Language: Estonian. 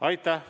Aitäh!